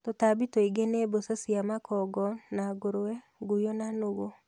Tũtambi tũingĩ ni mbũca cia makongo na ngũrwe, nguyo na nũgũ